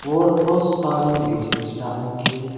और बहोत सारी लीची लीची डाल रखी है।